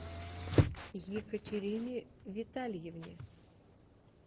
екатерине витальевне